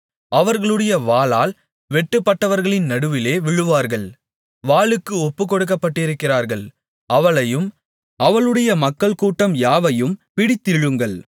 அவர்களுடைய வாளால் வெட்டுப்பட்டவர்களின் நடுவிலே விழுவார்கள் வாளுக்கு ஒப்புக்கொடுக்கப்பட்டிருக்கிறார்கள் அவளையும் அவளுடைய மக்கள்கூட்டம் யாவையும் பிடித்திழுங்கள்